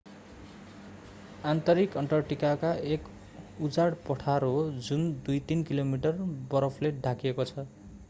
आन्तरिक अन्टार्कटिका एक उजाड पठार हो जुन 2-3 किलोमिटर बरफले ढाकिएको छ